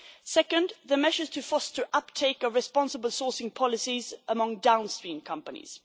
Secondly, the measures to foster uptake of responsible sourcing policies among downstream companies.